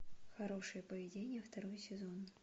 хорошее поведение второй сезон